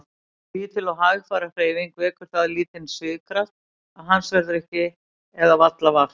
Lítil og hægfara hreyfing vekur það lítinn svigkraft að hans verður ekki eða varla vart.